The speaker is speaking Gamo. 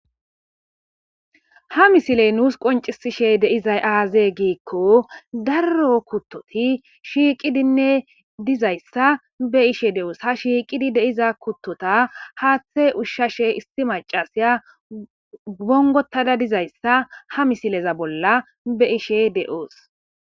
Ha misiley nuus qoncisishe deizay aazee giikko darro kuttoti shiiqidinne dizayssa be ishe de7oos ha shiiqidi deiza kuttota haaththe ushshashe isti macasiya gongotada dizayssa ha misileza bolla be ishe de'oos.